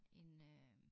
En øh